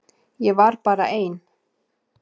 Ég var bara ein.